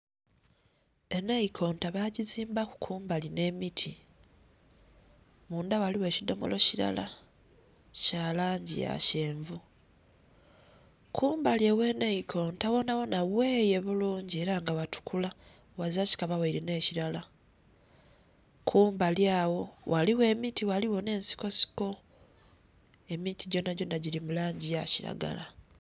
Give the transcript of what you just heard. Enaikonta baagizimbaku kumbali nh'emiti. Mundha ghaligho ekidhomolo kilala kya langi ya kyenvu. Kumbali ogh'enaikonta ghonha ghonha gheeye bulungi ela nga ghatukula ghazila kikaba ghaile nh'ekilala. Kumbali agho ghaligho emiti ghaligho nh'ensikosiko emiti gyonhagyonha gili mu langi ya kilagala